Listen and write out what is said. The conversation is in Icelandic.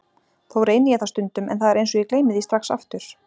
Þó reyni ég það stundum en það er eins og ég gleymi því strax aftur.